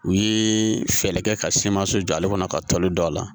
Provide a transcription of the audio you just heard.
U ye fɛɛrɛ kɛ ka siman so jɔ ale kɔnɔ ka toli don a la